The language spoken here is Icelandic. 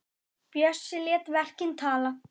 Bjössi lét verkin tala.